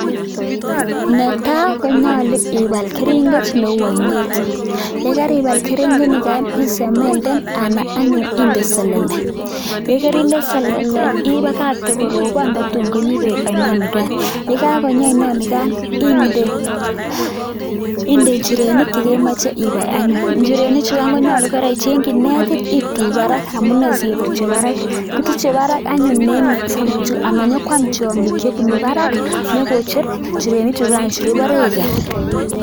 Netai konyolu ibal keringet neu ainet, yekaibal keringet nekai isemenden ana anyun inde selele. yekerinde selele ipakach yekorobon nda tuun konyi peek aino nekai . yekakonyi aino nekai inde njirenik yekemache ibai anyun. njirenik chu angonyolu kora icheng'chi netit ituch barak - amune siketuchi barak, kituche barak anyun amanyokwam tiong'ik chebunu barak nyekocher njirenik chu bare iger